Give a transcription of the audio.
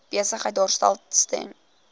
besigheid daarstel ten